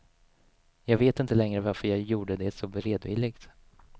Jag vet inte längre varför jag gjorde det så beredvilligt.